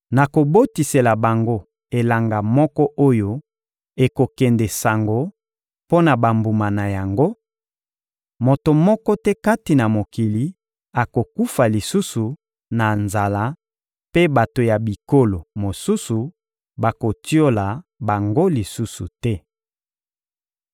Nakobotisela bango elanga moko oyo ekokende sango mpo na bambuma na yango; moto moko te kati na mokili akokufa lisusu na nzala mpe bato ya bikolo mosusu bakotiola bango lisusu te.